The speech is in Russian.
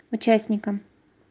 участникам